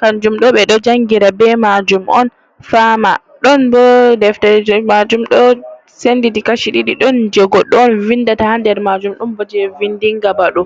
Kanjum ɗo ɓe ɗo jangira be majum on fama. Ɗon bo deftere majum ɗo senditi kashi ɗiɗi. Ɗon je goɗɗo on vindata ha nder majum ɗon bo je vindinga baɗo.